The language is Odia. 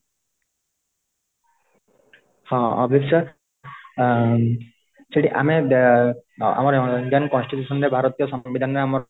ହଁ ଅଭିଷ୍ପା ଆଁ ସେଠି ଆମେ ଏଏଁ ଆମରି indian constitution ରେ ଭାରତୀୟ ସମ୍ଵିଧାନ ରେ ଆମର